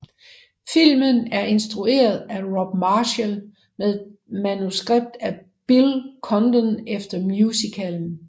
Filmen er instrueret af Rob Marshall med manuskript af Bill Condon efter musicalen